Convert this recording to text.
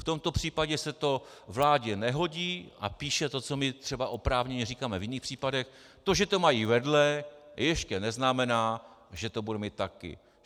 V tomto případě se to vládě nehodí a píše to, co my třeba oprávněně říkáme v jiných případech: To, že to mají vedle, ještě neznamená, že to budeme mít taky.